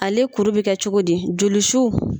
Ale kuru bɛ kɛ cogo di joli su.